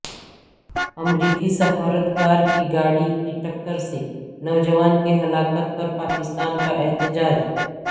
امریکی سفارتکار کی گاڑی کی ٹکر سے نوجوان کی ہلاکت پر پاکستان کا احتجاج